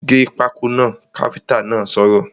‘Gé pákó náà’ káfíntà náà sọ̀rọ̀